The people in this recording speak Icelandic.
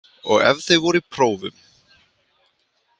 Og ef þau voru í prófum.